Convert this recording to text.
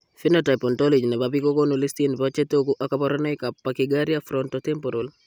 Phenotype ontology nebo biik kokoonu listini bo chetogu ak kaborunoik ab Parchygyria frontotemporal